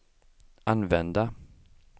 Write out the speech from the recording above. använda